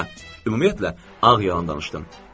Hə, ümumiyyətlə, ağ yalan danışdım.